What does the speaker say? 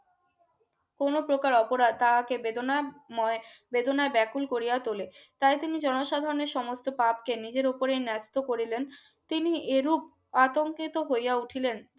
কোন প্রকার অপরাধ তাহাকে বেদনাময় বেদনা ব্যাকুল কোরিয়া তোলে তাই তিনি জনসাধারণের সমস্ত পাপকে নিজের উপরে ন্যস্ত করিলেন তিনি এরূপ আতঙ্কিত হইয়া উঠিলেন